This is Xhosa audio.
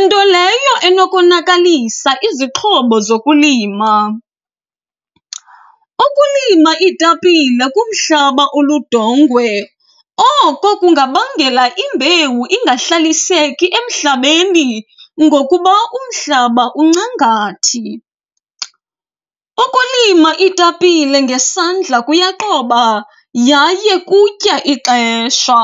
nto leyo enokonakalisa izixhobo zokulima. Ukulima iitapile kumhlaba oludongwe oko kungabangela imbewu ingahlaliseki emhlabeni ngokuba umhlaba uncangathi. Ukulima iitapile ngesandla kuyaqoba yaye kutya ixesha.